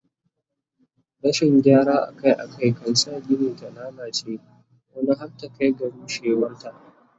Rashin gyara Akai Akai kan sa Gini ta lallace wani har ta Kai ga rushewar ta